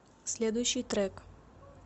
следующий трек